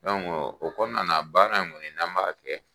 o kɔnɔna na baara in kɔni n'an b'a kɛ